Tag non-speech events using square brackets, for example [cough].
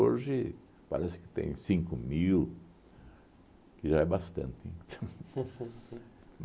Hoje parece que tem cinco mil, que já é bastante. [laughs]